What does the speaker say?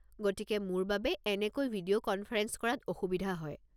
গতিকে মোৰ বাবে এনেকৈ ভিডিঅ' কনফাৰেঞ্চ কৰাত অসুবিধা হয়।